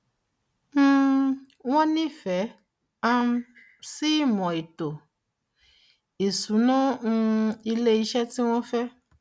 um wọn nífẹẹ um sí ìmò ètò ìsúná um ilé iṣẹ tí wọn fẹ